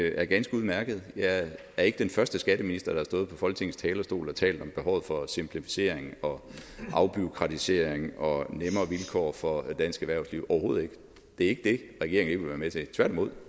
er ganske udmærket jeg er ikke den første skatteminister der har stået på folketingets talerstol og talt om behovet for simplificering og afbureaukratisering og nemmere vilkår for dansk erhvervsliv overhovedet ikke det er vil være med til tværtimod